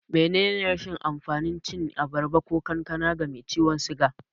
Menene rashin amfanin cin abarba ko kankana ga mai ciwan suga?